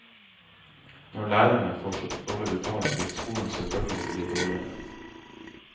Når lærerne får så dårlig betalt, vil skolen selvfølgelig bli dårligere.